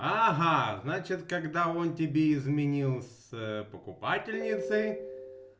ага значит когда он тебе изменил с покупательницей